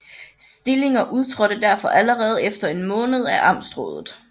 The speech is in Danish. Stillinger udtrådte derfor allerede efter en måned af amtsrådet